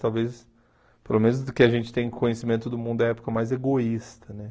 Talvez, pelo menos do que a gente tem conhecimento do mundo da época, mais egoísta,